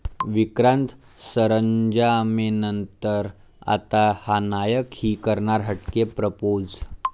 विक्रांत सरंजामेनंतर आता हा 'नायक'ही करणार हटके प्रपोझ